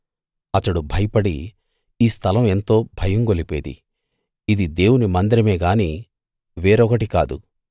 అతడు భయపడి ఈ స్థలం ఎంతో భయం గొలిపేది ఇది దేవుని మందిరమే గాని వేరొకటి కాదు